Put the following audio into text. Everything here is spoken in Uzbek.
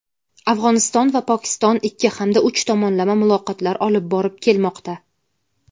Afg‘oniston va Pokiston ikki hamda uch tomonlama muloqotlar olib borib kelmoqda.